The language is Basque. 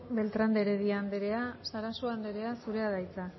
beltrán de heredia anderea sarasua anderea zurea da hitza